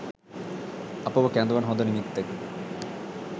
අපව කැඳවන හොඳ නිමිත්තකි.